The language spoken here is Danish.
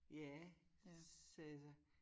Ja sagde jeg så